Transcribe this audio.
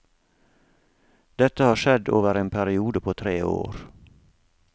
Dette har skjedd over en periode på tre år.